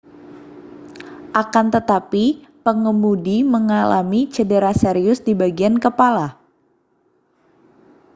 akan tetapi pengemudi mengalami cedera serius di bagian kepala